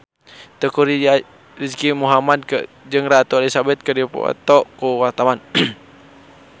Teuku Rizky Muhammad jeung Ratu Elizabeth keur dipoto ku wartawan